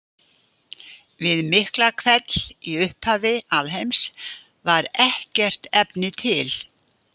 Við Miklahvell í upphafi alheims var ekkert efni til.